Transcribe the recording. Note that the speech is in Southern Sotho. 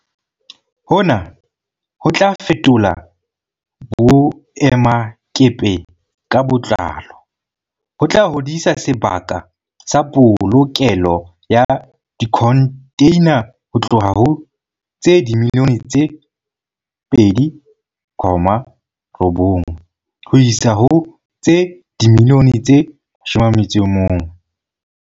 Hona ho tla fetola boemakepe ka botlalo, ho tla hodisa sebaka sa polokelo ya dikhontheina ho tloha ho tse dimiliyone tse 2.9 ho isa ho tse dimiliyone tse 11.